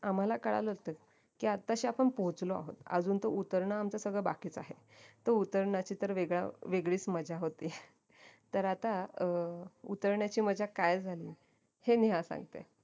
आम्हाला कळलं होत की आत्ताशी आपण पोहचलो आहोत अजून तर उतरण आमचं सगळं बाकीचं आहे तर उतरण्याची तर वेगळ वेगळीच मज्जा होती तर आता अं उतरण्याची मज्जा काय झाली हे नेहा सांगते